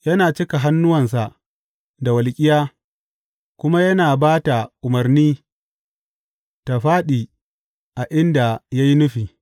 Yana cika hannuwansa da walƙiya kuma yana ba ta umarni tă fāɗi a inda ya yi nufi.